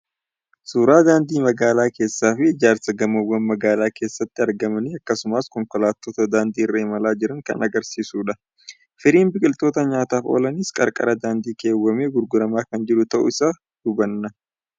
Suuraa daandii magaala keessaa fi ijaarsa gamoowwan magaala keessatti argamanii akkasumas konkolaattota daandii irra imalaa jiran kan argisiisudha. Firiin biqiltoota nyaataaf oolaniis qarqara daandii keewwamee gurguramaa kan jiru ta'uu isaa hubanna.